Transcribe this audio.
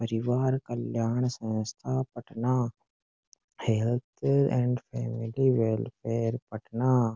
परिवार कल्याण संस्था Patna health and family welfare Patna.